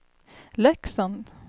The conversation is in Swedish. Leksand